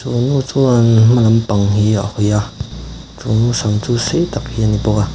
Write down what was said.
chu nu chuan hmalam pang hi a hawi a chu nu sam chu sei tak hi a ni bawk a.